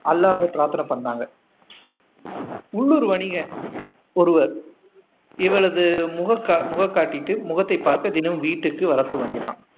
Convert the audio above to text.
அல்லாஹ்வை பிராத்தனை பண்ணாங்க உள்ளூர் வணிக ஒருவர் இவளது முகம் காட்டிட்டு முகத்தை பார்க்க தினமும் வீட்டுக்கு வரத் துவங்கினான்